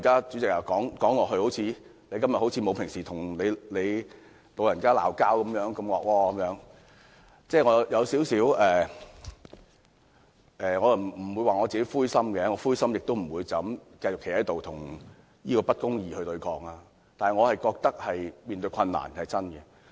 主席，我今天不像平日與你吵架般兇惡，我不會說是因為灰心，如果是這樣，我亦不會站在這裏繼續與不公理對抗，但我認為面對困難是真的。